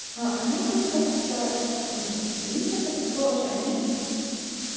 а они просто так типа ну для них это проще они